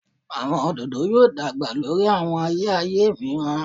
Awọn ododo yoo dagba lori awọn aye aye miiran